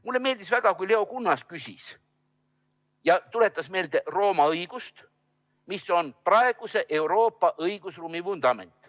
Mulle meeldis väga, kui Leo Kunnas küsis ja tuletas meelde Rooma õigust, mis on praeguse Euroopa õigusruumi vundament.